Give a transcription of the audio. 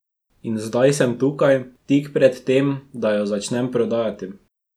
In zdaj sem tukaj, tik pred tem, da jo začnem prodajati.